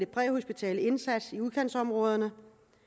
præhospitale indsats i udkantsområderne